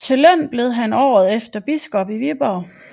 Til løn blev han året efter biskop i Viborg